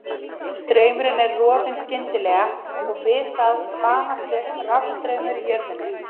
Straumurinn er rofinn skyndilega, og við það spanast upp rafstraumar í jörðinni.